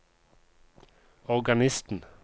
organisten